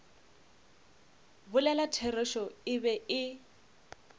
bolela therešo e be e